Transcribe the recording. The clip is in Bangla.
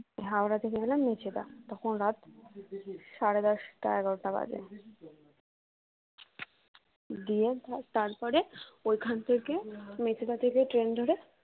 হাওড়া থেকে গেলাম মেচেদা তখন রাত সাড়ে দশটা এগারোটা বাজে গিয়ে তারপরে ওইখান থেকে মেচেদা থেকে ট্রেন ধরে